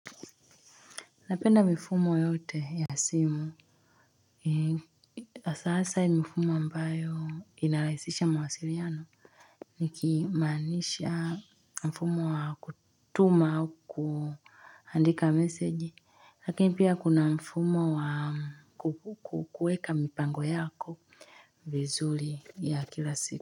Napenda mifumo yote ya simu. Asasa mfumo ambayo inalaisisha mawasiliano. Niki manisha mfumo wa kutuma au kuandika meseji. Lakini pia kuna mfumo wa kueka mipango yako vizuli ya kila siku.